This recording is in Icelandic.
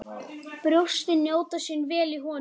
Brjóstin njóta sín vel í honum.